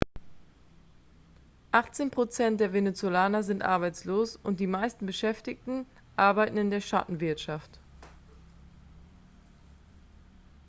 achtzehn prozent der venezolaner sind arbeitslos und die meisten beschäftigten arbeiten in der schattenwirtschaft